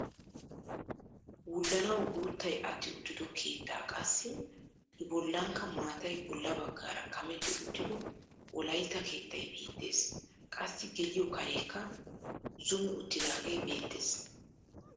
Wullanawu guuttay atti uttido keettaa qassi i bollankka maatay bolla baggaara kametti uttido wolaytta keettay beettees. qassi geliyoo kareekka zumi uttidaagee beettees.